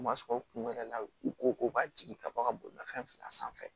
U ma sɔn u kun wɛrɛ la u ko ko ka jigi ka bɔ ka bolimafɛn filan sanfɛ